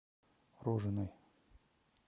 рожиной